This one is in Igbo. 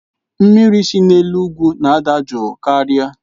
Mmiri si n'elu ugwu na-adị jụụ karịa.